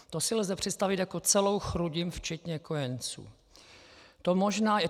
To si lze představit jako celou Chrudim včetně kojenců.